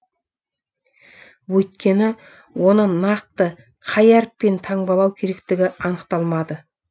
өйткені оны нақты қай әріппен таңбалау керектігі анықталмады